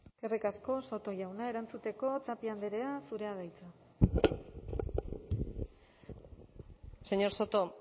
eskerrik asko soto jauna erantzuteko tapia andrea zurea da hitza señor soto